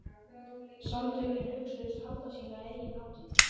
Samtökin hugðust halda sína eigin hátíð.